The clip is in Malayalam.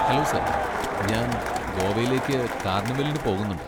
ഹെലോ സാർ, ഞാൻ ഗോവയിലേക്ക് കാർണിവലിന് പോകുന്നുണ്ട്.